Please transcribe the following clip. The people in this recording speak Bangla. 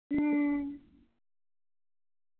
হম